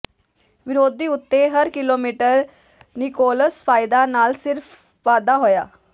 ਵਿਰੋਧੀ ਉੱਤੇ ਹਰ ਕਿਲੋਮੀਟਰ ਨਿਕੋਲਸ ਫਾਇਦਾ ਨਾਲ ਸਿਰਫ ਵਾਧਾ ਹੋਇਆ